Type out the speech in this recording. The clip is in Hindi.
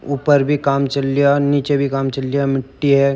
ऊपर भी काम चल रिया नीचे भी काम चल रिया मिट्टी है।